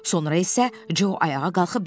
Sonra isə Co ayağa qalxıb dedi.